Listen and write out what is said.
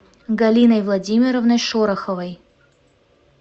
галиной владимировной шороховой